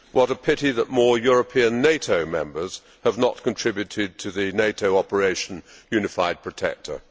What a pity that more European NATO members have not contributed to the NATO Operation Unified Protector.